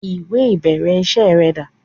Ìwẹ̀ ìbẹ̀rẹ̀ iṣẹ́ rẹ dà?